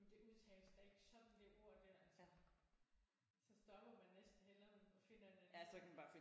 Men det udtales da ikke sådan det ord der altså så stopper man næsten hellere og finder en anden